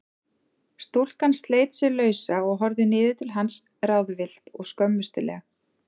Stúlkan sleit sig lausa og horfði niður til hans ráðvillt og skömmustuleg.